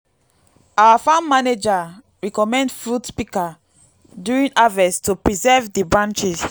our farm manager recommend fruit pika during harvest to preserve di branches